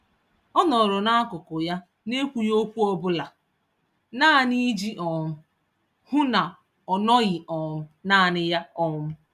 Ọ nọrọ n'akụkụ ya, N'Ekwughi ókwú ọbula, naanị iji um hụ na ọnọghị um nanị ya um